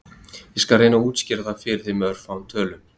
Ég skal reyna að útskýra það fyrir þér með örfáum tölum.